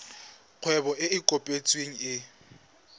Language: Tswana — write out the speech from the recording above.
kgwebo e e kopetsweng e